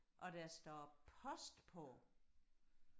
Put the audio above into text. og der står post på